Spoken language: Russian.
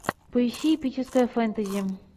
поищи эпическое фэнтези